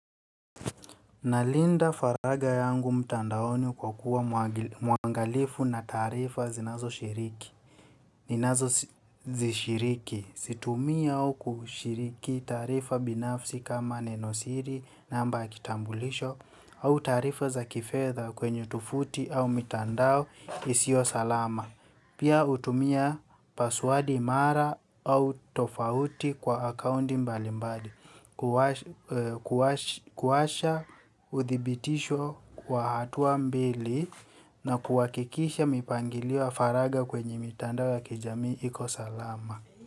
Ninalinda faragha yangu mtandaoni kwakuwa muangalifu na taarifa zinazoshiriki. Ninazozishiriki. Situmii au kushiriki taarifa binafsi kama nenosiri, namba ya kitambulisho au taarifa za kifedha kwenye tovuti au mitandao isiyosalama. Pia hutumia paswadi mara au tofauti kwa akaundi mbalimbali. Kuwasha uthibitisho kwa hatua mbili. Na kuhakikisha mipangilio ya faragha kwenye mitandao ya kijamii ikosalama.